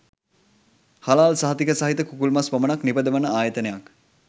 හලාල් සහතිකය සහිත කුකුල් මස් පමණක් නිපදවන් ආයතනයක්